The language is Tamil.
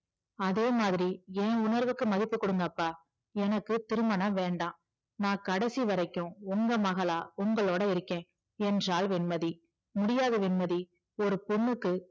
அதே மாதிரி என் உணர்வுக்கு மதிப்பு கொடுங்கப்பா எனக்கு திருமணம் வேண்டாம் நான் கடைசிவரைக்கும் உங்க மகளா உங்களோட இருக்கேன் என்றாள் வெண்மதி முடியாது வெண்மதி ஒரு பொண்ணுக்கு